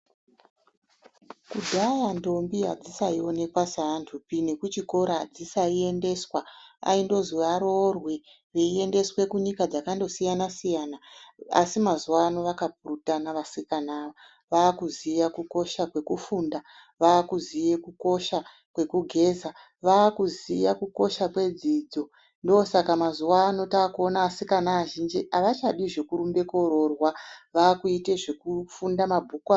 Kudhaya ndombi hadzaisaonekwa sevantupi nekuchikora hadzisaiendeswa. Aindozwi aroorwe, veiendeswe kunyika dzakandosiyana-siyana. Asi mazuvano vakapurutana vasikana ava. Vaakuziya kukosha kwekufunda. Vaakuziya kukosha kwegugeza. Vaakuziya kukosha kwedzidzo. Ndoosaka mazuvano taakuona asikana azhinji avachadi zvekurumbe kuuroorwa, vaakuite zvekufunda mabhuku.